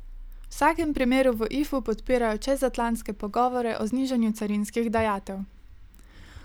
V vsakem primeru v Ifu podpirajo čezatlantske pogovore o znižanju carinskih dajatev.